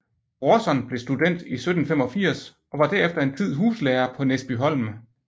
Brorson blev student i 1785 og var derefter en tid huslærer på Næsbyholm